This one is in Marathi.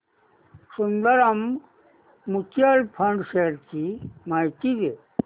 सुंदरम म्यूचुअल फंड शेअर्स ची माहिती दे